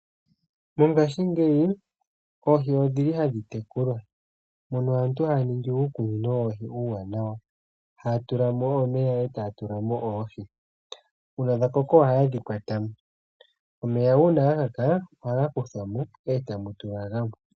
Mongaashingeyi oohi odhili hadhi tekulwa , mono aantu haya ningi uukunino woohi uuwanawa . Ohaya tula mo omeya noohi . Ngele dha koko ohayedhi kwatamo. Omeya uuna ga kaka , ohaga kuthamo etamu tulwa gamwe.